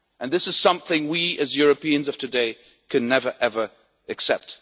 This is something we as Europeans of today can never, ever accept.